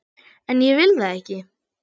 En ég vil það ekki.